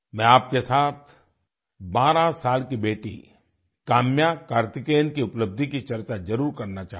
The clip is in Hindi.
मैं आपके साथ बारह साल की बेटी काम्या कार्तिकेयन की उपलब्धि की चर्चा जरुर करना चाहूँगा